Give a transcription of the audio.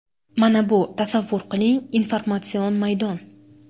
Mana bu, tasavvur qiling, informatsion maydon.